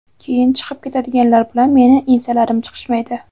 keyin chiqib ketadiganlar bilan meni ensalarim chiqishmaydi.